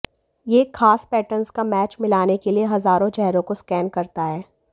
यह एक खास पैटर्न का मैच मिलाने के लिए हजारों चेहरों को स्कैन करता हैं